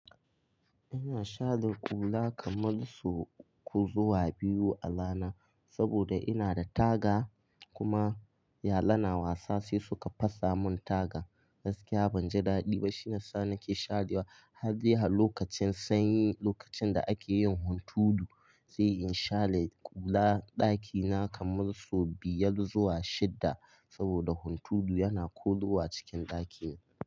Ina shaɗin kula kamar sau uku zuwa biyu a rana saboda ina da taga kuma yara na wasa sai suka fasa mun taga. Gaskiya banji daɗi ba shine sanda nake sharewa. Har jiya lokacin sanyi, lokacin da akeyin hunturu zai in share kula ɗakina kamar sau biyar zuwa shidda saboda hunturu yana koyo a cikin ɗakina.